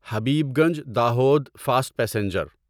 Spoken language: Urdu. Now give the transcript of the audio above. Habibganj Dahod fast passenger